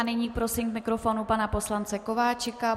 A nyní prosím k mikrofonu pana poslance Kováčika.